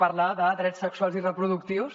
parlem de drets sexuals i reproductius